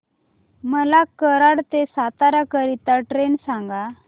मला कराड ते सातारा करीता ट्रेन सांगा